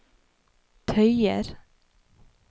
tøyer